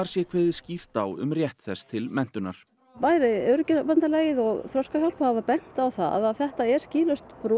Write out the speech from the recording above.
sé kveðið skýrt á um rétt þess til menntunar bæði Öryrkjabandalagið og Þroskahjálp hafa bent á það að þetta er skýlaust brot